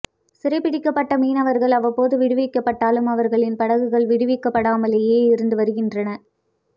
சிறைப் பிடிக்கப்பட்ட மீனவர்கள் அவ்வப்போது விடுவிக்கப்பட்டாலும் அவர்களின் படகுகள் விடுவிக்கப்படாமலேயே இருந்து வருகின்றன